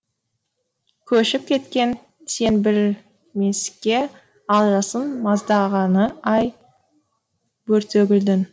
көшіп кеткен сен біл мес ке ал жасыл маздағаны ай бөртегүлдің